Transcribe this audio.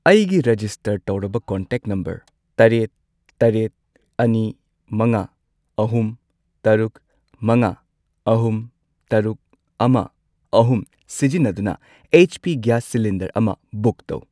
ꯑꯩꯒꯤ ꯔꯦꯖꯤꯁꯇꯔ ꯇꯧꯔꯕ contact number ꯇꯔꯦꯠ, ꯇꯔꯦꯠ, ꯑꯅꯤ, ꯃꯉꯥ, ꯑꯍꯨꯝ, ꯇꯔꯨꯛ, ꯃꯉꯥ, ꯑꯍꯨꯝ, ꯇꯔꯨꯛ, ꯑꯃ, ꯑꯍꯨꯝ ꯁꯤꯖꯤꯟꯅꯗꯨꯅ ꯑꯩꯆ.ꯄꯤ. ꯒꯦꯁ ꯁꯤꯂꯤꯟꯗꯔ ꯑꯃ ꯕꯨꯛ ꯇꯧ꯫